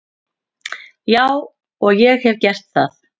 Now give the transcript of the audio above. Já og ég hef gert það.